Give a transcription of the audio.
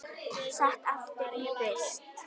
Sett aftur í frysti.